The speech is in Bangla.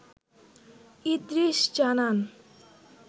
ইদ্রিস জানান